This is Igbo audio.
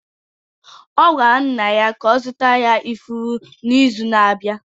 Ọ gwara nna ya ka ọ zụtara ya ifuru n’izu na-abịa